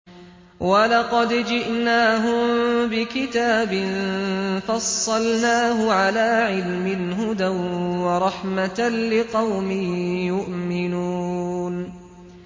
وَلَقَدْ جِئْنَاهُم بِكِتَابٍ فَصَّلْنَاهُ عَلَىٰ عِلْمٍ هُدًى وَرَحْمَةً لِّقَوْمٍ يُؤْمِنُونَ